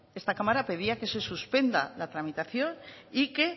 esta cámara pedía que se suspenda la tramitación y que